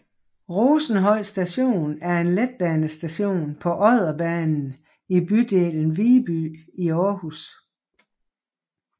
Rosenhøj Station er en letbanestation på Odderbanen i bydelen Viby i Aarhus